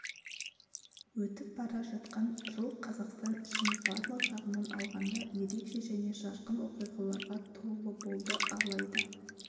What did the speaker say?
өтіп бара жатқан жыл қазақстан үшін барлық жағынан алғанда ерекше және жарқын оқиғаларға толы болды алайда